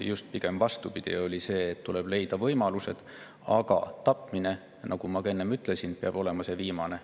Just pigem, vastupidi, oli, et tuleb leida võimalused, aga tapmine, nagu ma ka enne ütlesin, peab olema neist viimane.